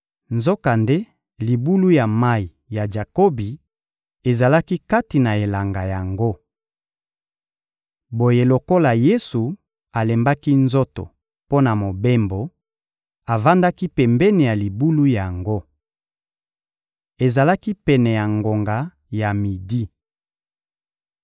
Nzokande libulu ya mayi ya Jakobi ezalaki kati na elanga yango. Boye lokola Yesu alembaki nzoto mpo na mobembo, avandaki pembeni ya libulu yango. Ezalaki pene ya ngonga ya midi.